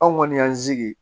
Anw kɔni y'an sigi